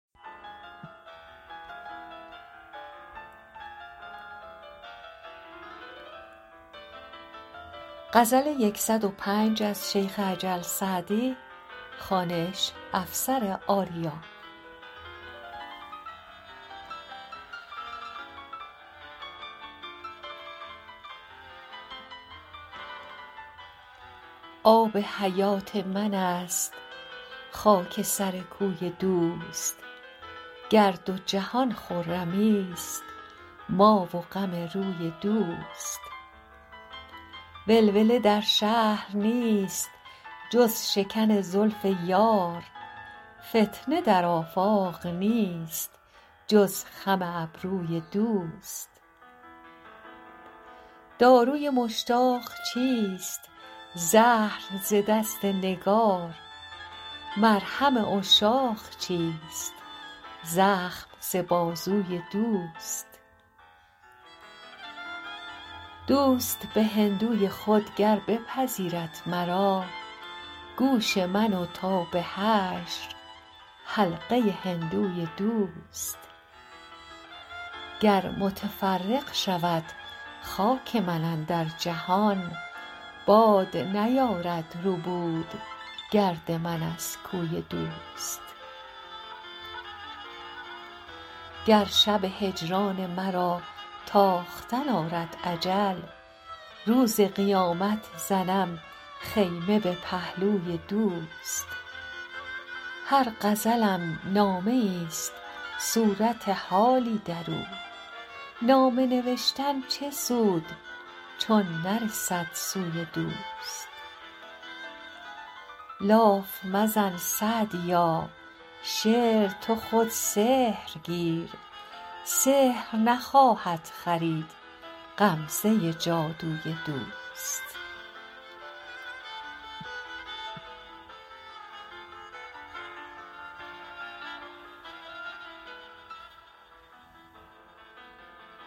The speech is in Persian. آب حیات من است خاک سر کوی دوست گر دو جهان خرمیست ما و غم روی دوست ولوله در شهر نیست جز شکن زلف یار فتنه در آفاق نیست جز خم ابروی دوست داروی مشتاق چیست زهر ز دست نگار مرهم عشاق چیست زخم ز بازوی دوست دوست به هندوی خود گر بپذیرد مرا گوش من و تا به حشر حلقه هندوی دوست گر متفرق شود خاک من اندر جهان باد نیارد ربود گرد من از کوی دوست گر شب هجران مرا تاختن آرد اجل روز قیامت زنم خیمه به پهلوی دوست هر غزلم نامه ایست صورت حالی در او نامه نوشتن چه سود چون نرسد سوی دوست لاف مزن سعدیا شعر تو خود سحر گیر سحر نخواهد خرید غمزه جادوی دوست